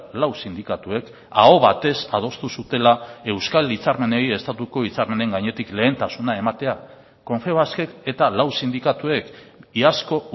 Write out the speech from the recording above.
lau sindikatuek aho batez adostu zutela euskal hitzarmenei estatuko hitzarmenen gainetik lehentasuna ematea confebaskek eta lau sindikatuek iazko